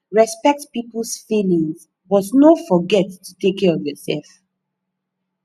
respect peoples feeling but no forget to take care of yourself